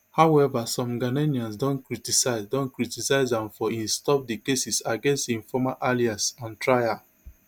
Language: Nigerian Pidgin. however some ghanaians don criticise don criticise am for say e stop di cases against im former allies on trial